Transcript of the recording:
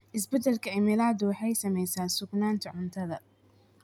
Isbeddelka cimiladu waxay saamaysaa sugnaanta cuntada.